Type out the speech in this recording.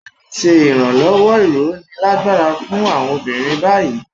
A ti ṣe ìrànlọ́wọ́/ìróni lágbára fún àwọn obìnrin báyìí.